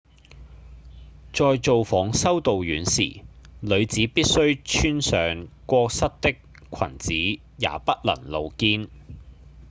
在造訪修道院時女子必須穿上過膝的裙子也不能露肩